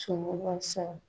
Tiemɔgɔ ya saran.